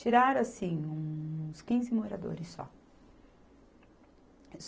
Tiraram, assim, uns quinze moradores só.